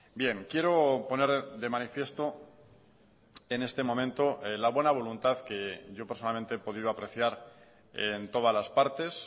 bien quiero poner de manifiesto en este momento la buena voluntad que yo personalmente he podido apreciar en todas las partes